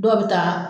Dɔw bɛ taa